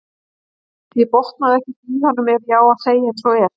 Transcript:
Ég botnaði ekkert í honum ef ég á að segja eins og er.